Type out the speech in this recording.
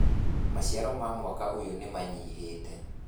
Maciaro ma mwaka ũyũ nĩmanyihĩte